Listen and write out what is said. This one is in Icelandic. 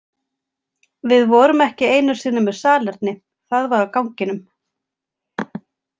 Við vorum ekki einu sinni með salerni, það var á ganginum.